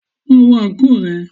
Lọ wọ àǹkóò rẹ.